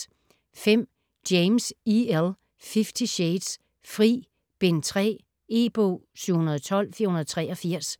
James, E. L.: Fifty shades: Fri: Bind 3 E-bog 712483